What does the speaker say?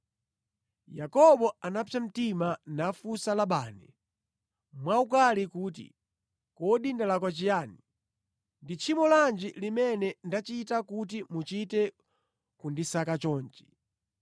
Yakobo anapsa mtima nafunsa Labani mwaukali kuti, “Kodi ndalakwa chiyani? Ndi tchimo lanji limene ndachita kuti muchite kundisaka chonchi?